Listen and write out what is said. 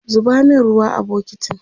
zuba min ruwa a bukitin!